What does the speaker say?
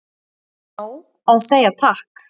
Er nóg að segja takk?